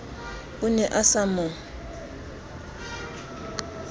o ne a sa mo